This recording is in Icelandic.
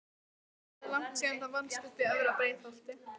Hvað er langt síðan það vannst uppi í efra Breiðholti?